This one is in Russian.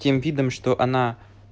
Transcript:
тем видом что она